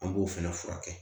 An b'o fɛnɛ furakɛ